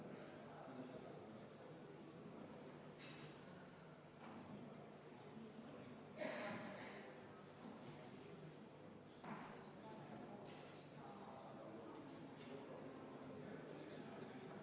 Palun võtta seisukoht ja hääletada!